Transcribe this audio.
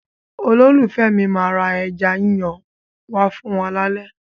Olólùfẹ́ mi máa ra ẹja yíyan wá fún wa lálẹ́.